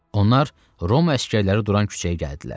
Onlar Roma əsgərləri duran küçəyə gəldilər.